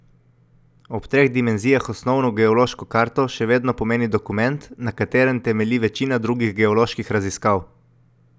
Ob treh dimenzijah Osnovno geološko karto še vedno pomeni dokument, na katerem temelji večina drugih geoloških raziskav.